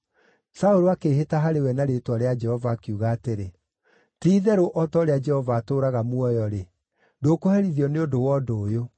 Saũlũ akĩĩhĩta harĩ we na rĩĩtwa rĩa Jehova, akiuga atĩrĩ, “Ti-itherũ o ta ũrĩa Jehova atũũraga muoyo-rĩ, ndũkũherithio nĩ ũndũ wa ũndũ ũyũ.”